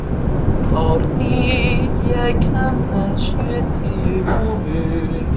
Árný, ég kom með sjötíu húfur!